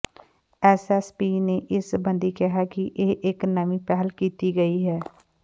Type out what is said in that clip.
S S P ਨੇ ਇਸ ਸਬੰਧੀ ਕਿਹਾ ਕਿ ਇਹ ਇਕ ਨਵੀਂ ਪਹਿਲ ਕੀਤੀ ਗਈ ਹੈ